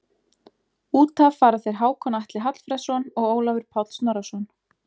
Út af fara þeir Hákon Atli Hallfreðsson og Ólafur Páll Snorrason.